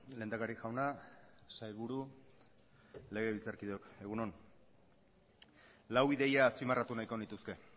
lehendakari jauna sailburu legebiltzarkideok egun on lau ideia azpimarratu nahiko nituzke